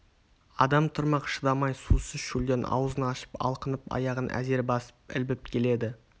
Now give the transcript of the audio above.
адам тұрмақ шыдамай сусыз шөлден аузын ашып алқынып аяғын әзер басып ілбіп келеді